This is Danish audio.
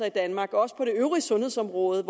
i danmark også på det øvrige sundhedsområde